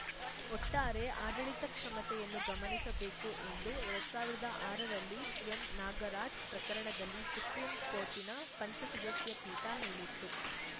ಒಟ್ಟಾರೆ ಆಡಳಿತ ಕ್ಷಮತೆಯನ್ನು ಗಮನಿಸಬೇಕು ಎಂದು ಎರಡ್ ಸಾವಿರ್ದಾ ಆರ ರಲ್ಲಿ ಎಂ ನಾಗರಾಜ್‌ ಪ್ರಕರಣದಲ್ಲಿ ಸುಪ್ರೀಂಕೋರ್ಟಿನ ಪಂಚ ಸದಸ್ಯ ಪೀಠ ಹೇಳಿತ್ತು